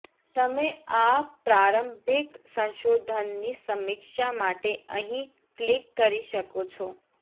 તમે આ પ્રારંભિક સંશોધનની સમીક્ષા માટે અહીં ક્લિક કરી શકો છો